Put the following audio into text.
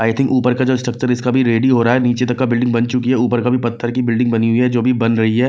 आई think ऊपर का जो स्ट्रक्चर इसका भी रेडी हो रहा है नीचे तक का बिल्डिंग बन चुकी है ऊपर का भी पत्थर की बिल्डिंग बनी हुई है जो अभी बन रही है।